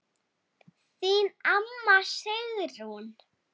Þín amma, Sigrún.